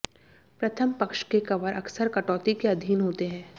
प्रथम पक्ष के कवर अक्सर कटौती के अधीन होते हैं